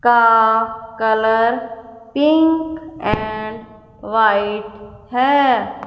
का colour pink and white है।